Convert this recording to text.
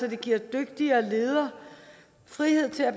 at det giver dygtige ledere frihed til at